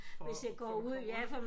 For for at komme ud